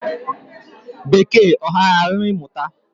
Bekee ọ ghara alụ mụta?